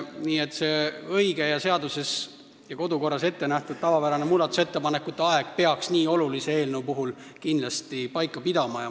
Nii et see õige, seaduses ja kodukorras ettenähtud tavapärane muudatusettepanekute esitamise aeg peaks nii olulise eelnõu puhul kindlasti paika pidama.